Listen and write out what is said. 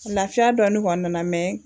Lafiya dɔɔni kɔni nana mɛ